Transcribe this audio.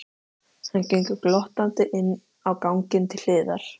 Hann gengur glottandi inn á ganginn til hliðar.